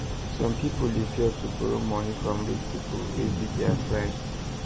some people dey fear to borrow money from rich people wey be their friend